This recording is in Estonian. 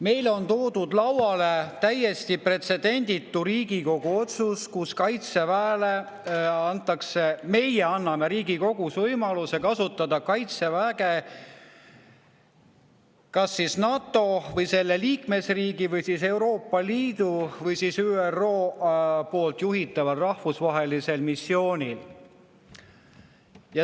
Meile on toodud lauale täiesti pretsedenditu Riigikogu otsus, millega meie Riigikogus anname võimaluse kasutada Kaitseväge kas NATO või selle liikmesriigi, Euroopa Liidu või ÜRO juhitaval rahvusvahelisel missioonil.